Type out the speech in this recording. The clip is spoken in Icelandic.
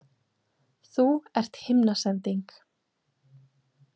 Þú ert himnasending.